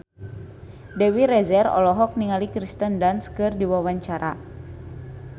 Dewi Rezer olohok ningali Kirsten Dunst keur diwawancara